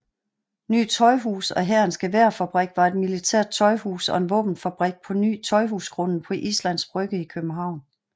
Ny Tøjhus og Hærens Geværfabrik var et militært tøjhus og en våbenfabrik på Ny Tøjhusgrunden på Islands Brygge i København